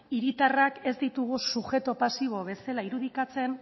hiritarrak ez ditugu subjektu pasibo bezala irudikatzen